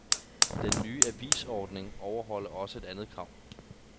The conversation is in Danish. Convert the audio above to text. Den nye avisordning overholder også et andet krav.